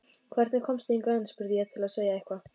Hvernig komstu hingað inn? spurði ég til að segja eitthvað.